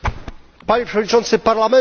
Panie Przewodniczący Parlamentu!